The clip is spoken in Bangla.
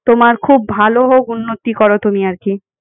তোমার খুব ভাল হউক উন্নতি করো তুমি এই আর কি।